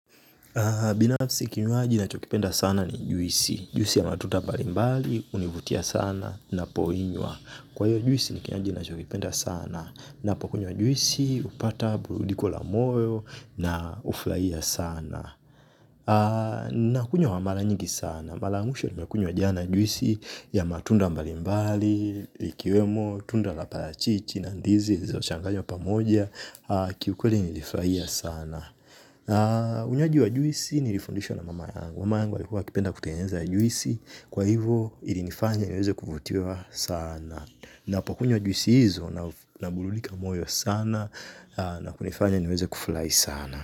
Binafsi kinywaji na chokipenda sana ni juisi, juisi ya matunda mbalimbali, hunivutia sana na poinywa. Kwa hiyo juisi ni kinywaji na chokipenda sana na pokunywa juisi, hupata, burudiko la moyo na hufurahia sana. Nakunywa maranyingi sana, marayamwisho ni mekunywa jana juisi ya matunda mbalimbali, likiwemo, tunda laparachichi, nandizi, zilozochanganywa pamoja, kiukweli nilifurahia sana. Unywaji wa juisi ni lifundishwa na mama yangu. Mama yangu alikuaa kipenda kutengeza juisi. Kwa hivo ilinifanya niweze kuvutiwa sana. Na pokunywa juisi hizo na burudika moyo sana. Na kunifanya niweze kufurahi sana.